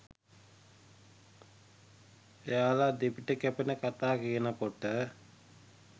එයාල දෙපිට කැපෙන කතා කියනකොට